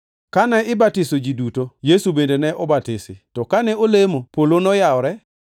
Kane ibatiso ji duto, Yesu bende ne obatisi. To kane olemo, polo noyawore